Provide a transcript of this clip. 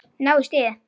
Ná í stigið.